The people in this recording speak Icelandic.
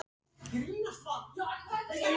Ertu alveg hættur að semja músík?